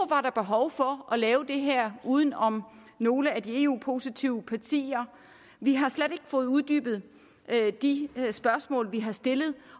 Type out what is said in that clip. var behov for at lave det her uden om nogle af de eu positive partier vi har slet ikke fået uddybet de spørgsmål vi har stillet